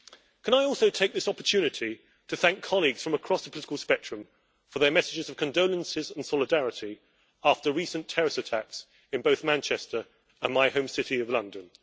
Can I also take this opportunity to thank colleagues from across the political spectrum for their messages of condolences and solidarity after the recent terrorist attacks in both Manchester and my home city of London.